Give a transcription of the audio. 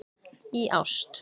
Í ást.